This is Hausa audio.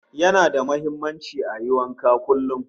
Yana da muhimmanci ayi wanka kullum